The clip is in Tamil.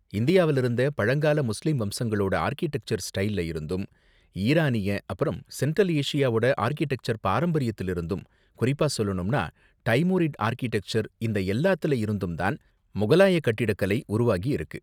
இந்தியாவுல இருந்த பழங்கால முஸ்லிம் வம்சங்களோட ஆர்க்கிடெக்சர் ஸ்டைல்ல இருந்தும், ஈரானிய அப்பறம் சென்ட்ரல் ஏசியாவோட ஆர்க்கிடெக்சர் பாரம்பரியத்துல இருந்தும், குறிப்பா சொல்லணும்னா டைமுரிட் ஆர்க்கிடெக்சர், இந்த எல்லாத்துல இருந்தும் தான் முகலாய கட்டிடக்கலை உருவாகி இருக்கு.